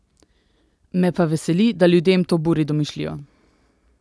Me pa veseli, da ljudem to buri domišljijo!